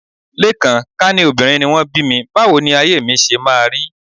Lékan, ká ní obìnrin ni wọ́n bí mi, báwo ni ayé mi ṣe máa rí